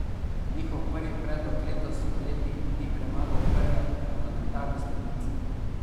Njihov prvi predlog letos poleti ni premagal prve parlamentarne stopnice.